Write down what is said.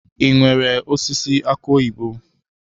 I nwèrè osisi aki oyibo?